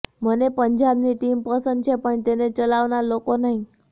મને પંજાબની ટીમ પસંદ છે પણ તેને ચલાવનાર લોકો નહીં